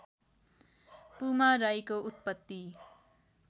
पुमा राईको उत्पत्ति